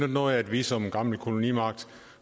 noget at vi som gammel kolonimagt